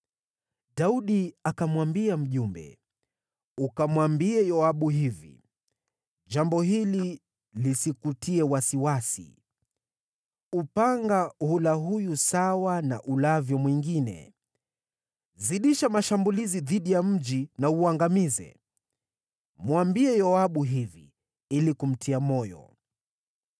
Daudi akamwambia mjumbe, “Ukamwambie Yoabu hivi, ‘Jambo hili lisikutie wasiwasi, upanga hula huyu sawa na ulavyo mwingine. Zidisha mashambulizi dhidi ya mji na uangamize.’ Mwambie Yoabu hivi ili kumtia moyo.”